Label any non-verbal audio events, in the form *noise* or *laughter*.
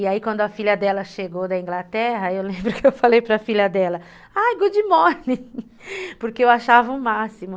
E aí quando a filha dela chegou da Inglaterra, *laughs* eu lembro que eu falei para a filha dela, ai, good morning, *laughs* porque eu achava o máximo.